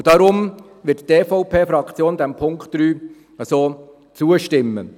Deshalb wird die EVP-Fraktion dem Punkt 3 so zustimmen.